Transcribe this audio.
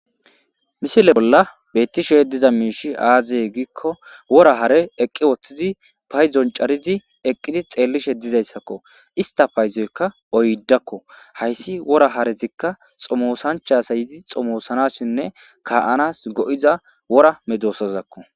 misile bolla beettishe diza miishi aazee giikko wora hare eqqi woththidi payzon carizi eqqidi xeellishe dizayssakko. ista payzoykka oyddakko hayssi wora harezikka xomoosanchasayizi xomoosanasshinne ka7anas go7iza wora medosazakko.